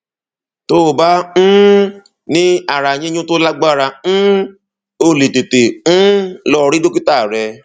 tó bá um ní ara yíyún tó lágbára um o lè tètè um lọ rí dókítà rẹ